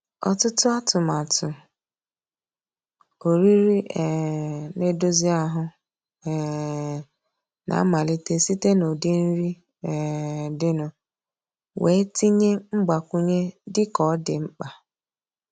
Ọtụtụ atụmatụ oriri um na-edozi ahụ um na-amalite site n'ụdị nri um dịnụ, wee tinye mgbakwunye dị ka ọ dị mkpa.